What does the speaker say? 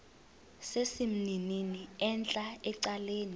sesimnini entla ecaleni